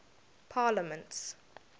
parliaments